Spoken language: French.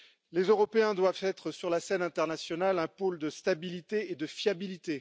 Les Européens doivent être, sur la scène internationale, un pôle de stabilité et de fiabilité.